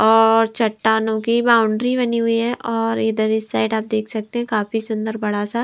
और चट्टानों की बाउंड्री बनी हुई है और इधर इस साइड आप देख सकते हैं काफी सुंदर बड़ा सा--